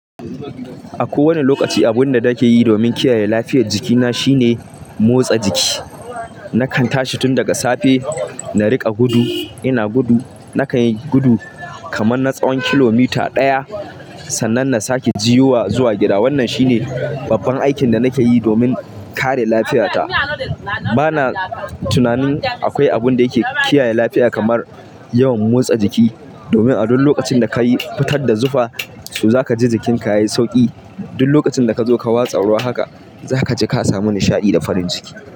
A kowane lokaci, abin da nake yi domin kiyaye lafiyar jikina shine, motsa jiki. Nakan tashi tun daga safe, na riƙa gudu. Ina gudu, nakan yi gudu kaman na tsawon kilomita ɗaya. Sannan na sake juyowa zuwa gida. Wannan shine babban aikin da nake yi domin kare lafiyata. Bana tunanin, akwai abin da yake kiyaye lafiya kamar yawan motsa jiki, domin a duk lokacin da kayi fitar da zufa, to zaka ji jikinka yayi sauƙi. Duk lokacin da kazo ka watsa ruwa haka, zaka ji ka samu nishaɗi da farin jiki.